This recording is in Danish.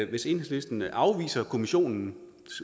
hvis enhedslisten afviser kommissionens